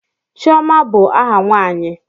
Chioma bụ aha nwanyi.